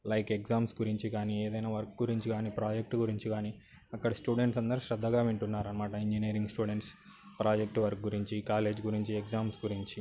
like exams గురించి కానీ ఏదయినా ప్రాజెక్ట్ గురించి కానీ అక్కడ స్టూడెంట్స్ అందరు శ్రద్ధగా వింటున్నారన్నమాట ఇంజనీరింగ్ స్టూడెంట్స్ ప్రాజెక్ట్ వర్క్ గురించి కాలేజ్ గురించి ఎగ్జామ్స్ గురించి